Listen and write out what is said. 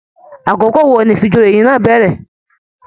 Àkókò wò ní ifíjòyè náà n bẹrẹ?